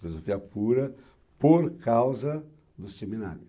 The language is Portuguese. Filosofia pura por causa do seminário.